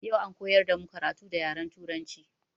Yau an koyar damu karatu da yaren turanci.